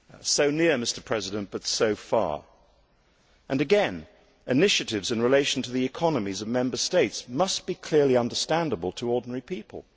So near, Mr President, but so far, and again initiatives relating to the economies of Member States must be clearly understandable to ordinary people.